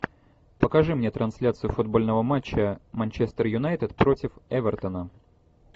покажи мне трансляцию футбольного матча манчестер юнайтед против эвертона